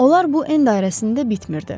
Onlar bu en dairəsində bitmirdi.